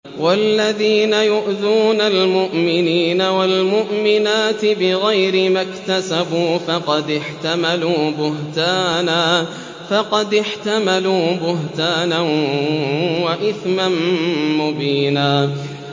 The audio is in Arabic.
وَالَّذِينَ يُؤْذُونَ الْمُؤْمِنِينَ وَالْمُؤْمِنَاتِ بِغَيْرِ مَا اكْتَسَبُوا فَقَدِ احْتَمَلُوا بُهْتَانًا وَإِثْمًا مُّبِينًا